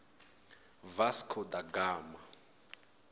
vasco da gama